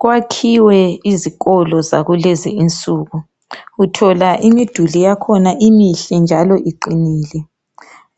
Kwakhiwe izikolo zakulezi insuku uthola imiduli yakhona imihle njalo iqinile